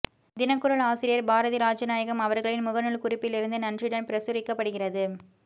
தினக்குரல் ஆசிரியர் பாரதி ராஜநாயகம் அவர்களின் முகநூல் குறிப்பிலிருந்து நன்றியுடன் பிரசுரிக்கப்படிகிறது